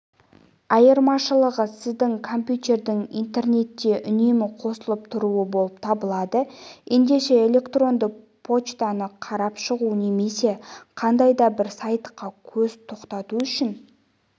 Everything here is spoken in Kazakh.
айырмашылығы сіздің компьютердің интернетке үнемі қосылып тұруы болып табылады ендеше электронды поштаны қарап шығу немесе қандай да бір сайтқа көз тоқтату үшін